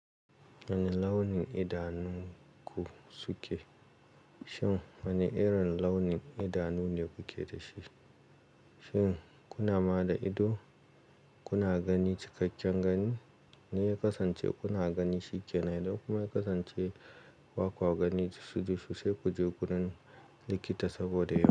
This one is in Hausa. Wane launin idanunku suke? Shin wane irin launin idanu ne kuke da shi? Shin kuna ma da ido? Kuna gani cikakken gani? Idan ya kasance kuna gani shike nen, idan kuma ya kasance ba kwa gani dishi dishi sai ku je gurin likita saboda ya.